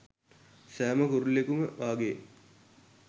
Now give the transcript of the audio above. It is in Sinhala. සෑම කුරුල්ලෙකුම වාගේ